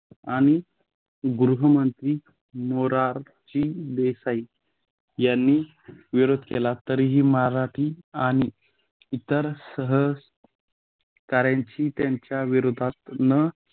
आणि गृहमंत्री मोराची देसाई यांनी विरोध केला तरीही मराठी आणि इतर सहकाऱ्यांची त्यांच्या विरोधात न